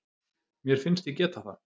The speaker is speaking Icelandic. Mér finnst ég geta það